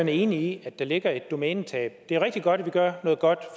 er enig i at der ligger et domænetab det er rigtig godt at vi gør noget godt